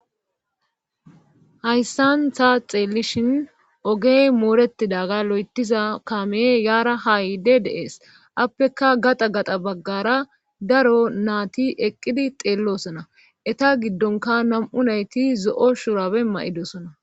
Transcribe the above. hayssantha xeelishin ogey mooretidaga lo7etiza kame yaara haayide deees appeka gaxa gaxa baggara daro naati eqqidi xeellosona eta giddonka nam7u nayti zo7o shurabe ma7idosona